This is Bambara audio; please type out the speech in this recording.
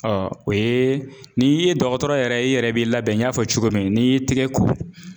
Ɔ o ye n'i ye dɔgɔtɔrɔ yɛrɛ i yɛrɛ b'i labɛn n y'a fɔ cogo min n'i y'i tigɛ ko.